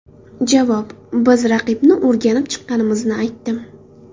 Javob: Biz raqibni o‘rganib chiqqanimizni aytdim.